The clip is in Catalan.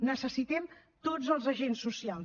necessitem tots els agents socials